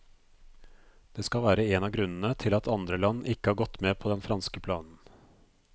Det skal være en av grunnene til at andre land ikke har gått med på den franske planen.